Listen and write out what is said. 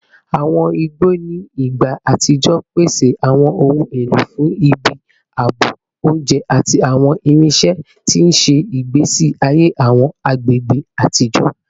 Awọn igbo ni igba atijọ pese awọn ohun elo fun ibi aabo, ounjẹ, ati awọn irinṣẹ, ti n ṣe igbesi aye awọn agbegbe atijọ